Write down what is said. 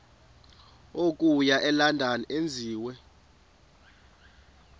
okuya elondon enziwe